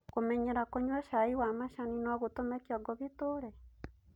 Kũmenyera kũnyua chai wa macani no gũtume Kĩongo gĩture?